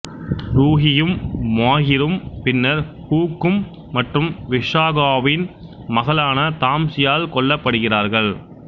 ருஹியும் மாஹிரும் பின்னர் ஹுக்கும் மற்றும் விஷாகாவின் மகளான தாம்சியால் கொல்லப்படுகிறார்கள்